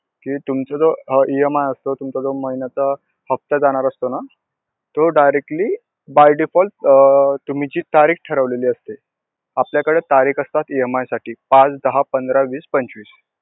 की तुमचा जो अं EMI असतो, तुमचा जो महिन्याचा हफ्ता जाणार असतो ना तो directly by default अं तुम्ही जी तारीख ठेरवलेली असेत, आपल्याकडे तारीख असतात EMI साठी पाच, दहा, पंधरा, वीस, पंचवीस.